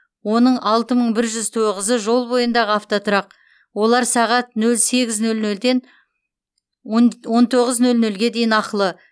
оның алты мың бір жүз тоғызы жол бойындағы автотұрақ олар сағат нөл сегіз нөл нөлден он он тоғыз нөл нөлге дейін ақылы